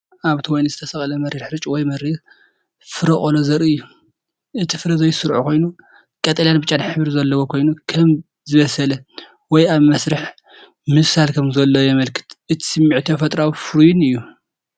ኣብቲ ወይኒ ዝተሰቕለ መሪር ሕርጭ ወይ መሪር ፍረ ቆሎ ዘርኢ እዩ። እቲ ፍረ ዘይስሩዕ ኮይኑ፡ ቀጠልያን ብጫን ሕብሪ ዘለዎ ኮይኑ፡ ከም ዝበሰለ ወይ ኣብ መስርሕ ምብሳል ከም ዘሎ የመልክት። እቲ ስምዒት ተፈጥሮኣውን ፍሩይን እዩ።